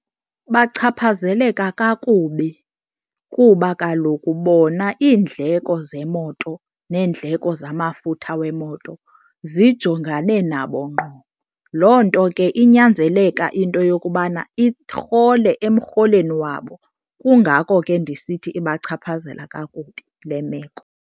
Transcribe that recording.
Bachaphazeleka kakubi kuba kaloku bona iindleko zemoto neendleko zamafutha wemoto zijongane nabo ngqo. Loo nto ke inyanzeleka into yokubana irhole emrholweni wabo kungako ke ndisithi ibachaphazela kakubi le meko.